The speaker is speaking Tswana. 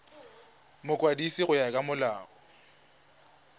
mokwadisi go ya ka molao